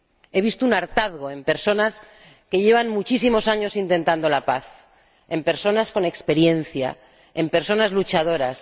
he visto un hartazgo en personas que llevan muchísimos años intentando la paz, en personas con experiencia, en personas luchadoras